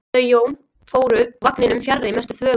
Þau Jón fóru úr vagninum fjarri mestu þvögunni.